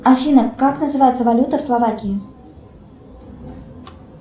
афина как называется валюта в словакии